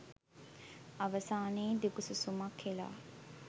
අවසානයේ දිගු සුසුමක්‌ හෙලා